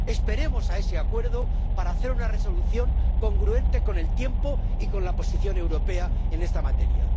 Esperemos a ese acuerdo para hacer una Resolución congruente con el tiempo y con la posición europea en esta materia.